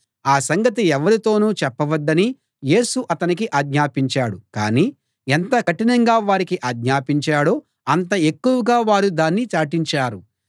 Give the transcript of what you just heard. ఆ సంగతి ఎవ్వరితోనూ చెప్పవద్దని యేసు అతనికి ఆజ్ఞాపించాడు కాని ఎంత కఠినంగా వారికి ఆజ్ఞాపించాడో అంత ఎక్కువగా వారు దాన్ని చాటించారు